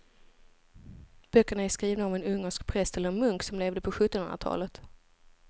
Böckerna är skrivna av en ungersk präst eller munk som levde på sjuttonhundratalet.